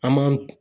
An m'an